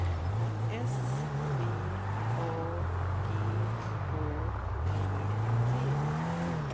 S V A G H E T